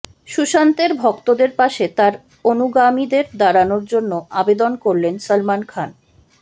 সুশান্তের ভক্তদের পাশে তাঁর অনুগামীদের দাঁড়ানোর জন্য আবেদন করলেন সলমন খান